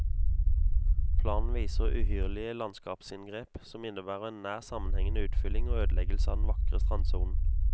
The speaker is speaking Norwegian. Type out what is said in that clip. Planen viser uhyrlige landskapsinngrep, som innebærer en nær sammenhengende utfylling og ødeleggelse av den vakre strandsonen.